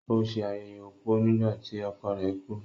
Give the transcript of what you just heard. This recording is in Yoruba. Ó se ayẹyẹ opó nígbà tí ọkọ rẹ̀ kú.